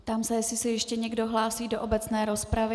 Ptám se, jestli se ještě někdo hlásí do obecné rozpravy.